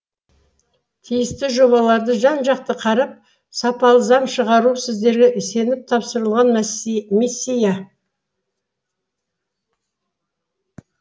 тиісті жобаларды жан жақты қарап сапалы заң шығару сіздерге сеніп тапсырылған миссия